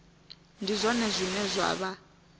ndi zwone zwine zwa vha